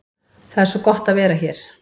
Það er svo gott að vera hér.